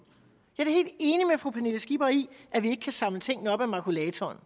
i at vi ikke kan samle tingene op af makulatoren og